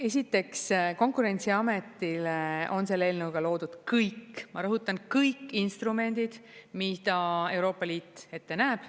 Esiteks, Konkurentsiametile on selle eelnõuga loodud kõik, ma rõhutan, kõik instrumendid, mida Euroopa Liit ette näeb.